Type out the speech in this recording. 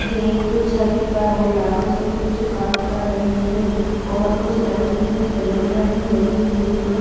ये एक छत पर औजारों से कुछ काम कर रहे है और कुछ लकड़ी की बलियां भी लगी हुई है।